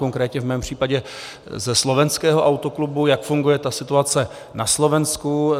Konkrétně v mém případě ze slovenského Autoklubu, jak funguje ta situace na Slovensku.